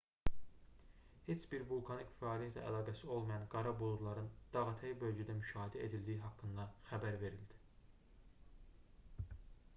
heç bir vulkanik fəaliyyətlə əlaqəsi olmayan qara buludların dağətəyi bölgədə müşahidə edildiyi haqqında xəbər verildi